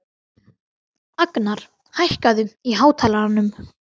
Agnar, hækkaðu í hátalaranum.